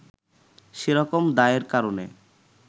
সে রকম দায়ের কারণে